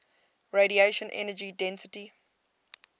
radiation energy density